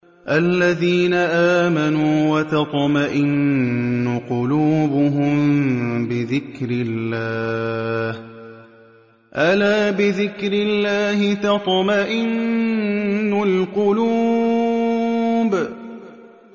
الَّذِينَ آمَنُوا وَتَطْمَئِنُّ قُلُوبُهُم بِذِكْرِ اللَّهِ ۗ أَلَا بِذِكْرِ اللَّهِ تَطْمَئِنُّ الْقُلُوبُ